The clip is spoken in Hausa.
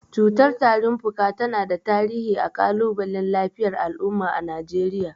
Cutar tarin fuka tana da tarihi a kalubalen lafiyar al’umma a Najeriya.